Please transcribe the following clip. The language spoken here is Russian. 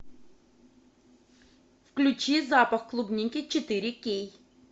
включи запах клубники четыре кей